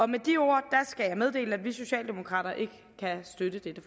med de ord skal jeg meddele at vi socialdemokrater ikke kan støtte dette